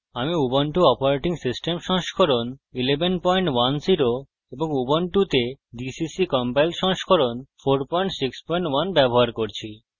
ubuntu operating system সংস্করণ 1110 এবং ubuntu gcc compiler সংস্করণ 461 ব্যবহার করছি